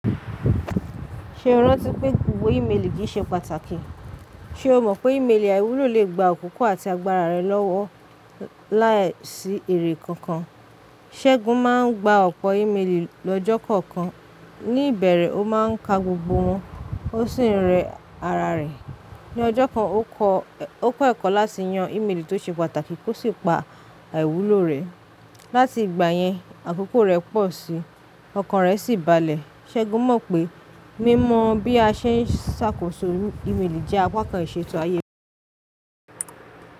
Ṣe o rántí pé gbogbo ìméèlì kií ṣe pàtàkì? Ṣe o mọ̀ pé ìméèlì àìwúlò lè gba àkókò àti agbára rẹ lọ́wọ́ láìsí èrè kankan? Ṣẹ́gun máa ń gba ọ̀pọ̀ ìméèlì lọ́jọ́ kọ̀ọ̀kan, ní ìbẹ̀rẹ̀ ó máa ń ka gbogbo wọn, ó sì ń rẹ ara rẹ̀. Ni ọjọ́ kan ó kọ́ ẹ̀kọ́ láti yan ìméèlì tó ṣe pàtàkì kó sì pa àìwúlò rẹ̀. Láti ìgbà yẹn àkókò rẹ̀ pọ̀ síi, ọkàn rẹ̀ sì balẹ̀. Ṣẹ́gun mọ̀ pé mímọ bi a ṣe ń ṣàkóso ìméèlì jẹ́ apá kan ìṣètò ayé rẹ̀.